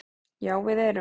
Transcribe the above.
Já við erum